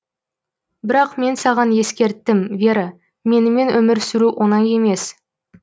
бірақ мен саған ескерттім вера менімен өмір сүру оңай емес